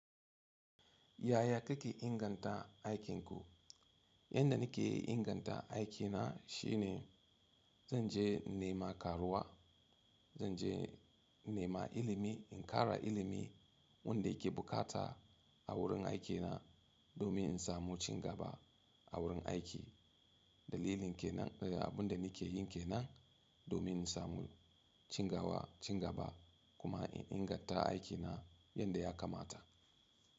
Yaya kake inganta aikinku? Yanda nake inganta aikina shine zan je nema karuwa, zan je nema ilimi, in ƙara ilimi wanda ke bukata a wurin aikina domin in samu cigaba a wurin aiki. Dalilin ke nan, eh abun da nake yin ke nan domin in samu cigaba kuma in inganta aikina yadda ya kamata.